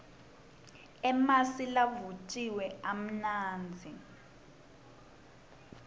emasi lavutjiwe amnandzi